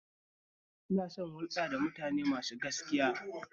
Ina son hulɗa da mutane masu gaskiya